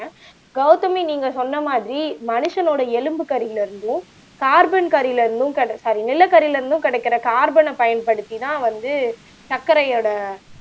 கௌதமி நீங்க சொன்ன மாதிரி மனுஷனுடைய எலும்பு கடில இருந்தும் கார்பன் கடில இருந்தும் இல்ல sorry நிலக்கரில இருந்தும் கிடைக்கிற கார்பன பயன்படுத்தி தான் வந்து சக்கரையோட